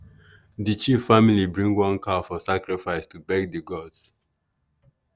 the chief family bring one cow for sacrifice to beg the gods.